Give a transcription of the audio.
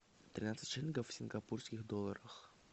тринадцать шиллингов в сингапурских долларах